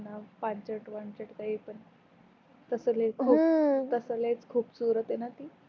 पांचट वांचट काही पण तस लई तस लई खुपसुरत आहे न ती